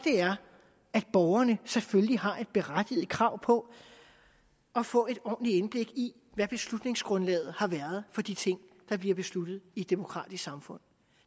er at borgerne selvfølgelig har et berettiget krav på at få et ordentligt indblik i hvad beslutningsgrundlaget har været for de ting der bliver besluttet i et demokratisk samfund